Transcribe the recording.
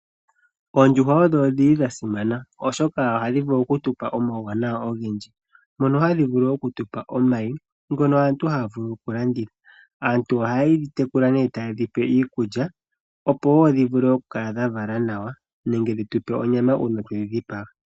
Oondjuhwa odhili dha simana oshoka ohadhi vulu oku tupa omawuwanawa ogendji. Ohadhi vulu woo oku tupa omayi ngono aantu haya vulu oku landitha. Aantu oha yedhi tekula nee taye dhi pe iikulya opo dhi vule oku kala dha vala nawa nenge dhi tupe onyama.